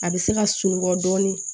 A bɛ se ka sunɔgɔ dɔɔnin